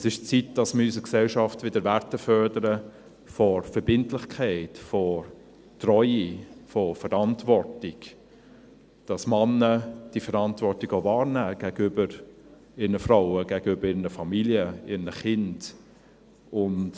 Es ist an der Zeit, dass wir in unserer Gesellschaft wieder Werte fördern von Verbindlichkeit, von Treue, von Verantwortung, dass Männer diese Verantwortung auch wahrnehmen gegenüber ihren Frauen, gegenüber ihren Familien, ihren Kindern.